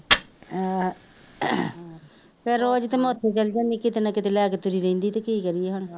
ਫੇਰ ਰੋਜ਼ ਤਾਂ ਮੈ ਉੱਥੇ ਚਲੀ ਜਾਂਦੀ ਹਾਂ ਕਿਤੇ ਨਾ ਕਿਤੇ ਲੈ ਕੇ ਤੁਰੀ ਰਹਿੰਦੀ ਕੀ ਕਰੀਏ ਹੁਣ